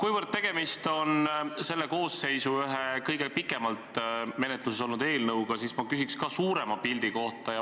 Kuna tegemist on selles koosseisus ühe kõige pikemalt menetluses olnud eelnõuga, siis ma küsin ka suurema pildi kohta.